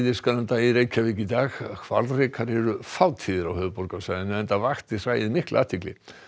Eiðisgranda í Reykjavík í dag hvalrekar eru fátíðir á höfuðborgarsvæðinu enda vakti hræið mikla athygli